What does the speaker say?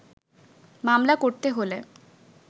মামলা করতে হলে